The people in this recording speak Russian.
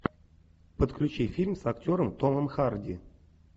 подключи фильм с актером томом харди